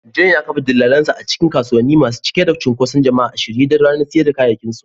John ya kafa dillalinsa a cikin kasuwanni masu cike da cunkoson jama'a a shirye don ranar sayar da kayayyakinsu.